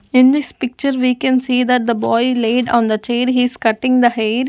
in this picture we can see that the boy laid on the chair he is cutting the hair.